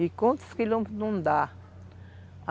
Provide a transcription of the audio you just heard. E quantos quilômetros não dá?